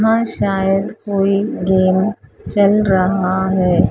हां शायद कोई गेम चल रहा है।